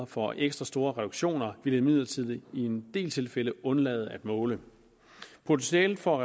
for ekstra store reduktioner vil imidlertid i en del tilfælde undlade at måle potentialet for